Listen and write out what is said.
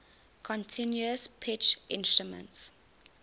continuous pitch instruments